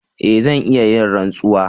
E! zan iya yin rantsuwa.